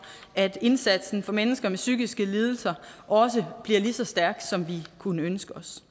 at indsatsen for mennesker med psykiske lidelser også bliver lige så stærk som vi kunne ønske os